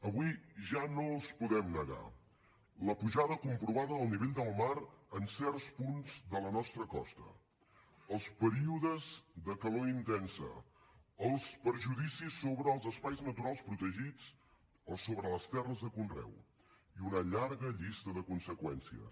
avui ja no els podem negar la pujada comprovada del nivell del mar en certs punts de la nostra costa els períodes de calor intensa els perjudicis sobre els espais naturals protegits o sobre les terres de conreu i una llarga llista de conseqüències